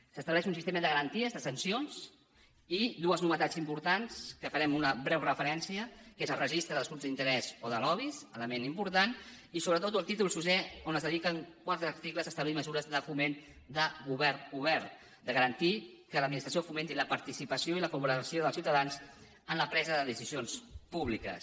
s’estableix un sistema de garanties de sancions i dues novetats importants que en farem una breu referència que és el registre dels grups d’interès o de lobbys element important i sobretot del títol sisè on es dediquen quatre articles a establir mesures de foment de govern obert de garantir que l’administració fomenti la participació i la cooperació dels ciutadans en la presa de decisions públiques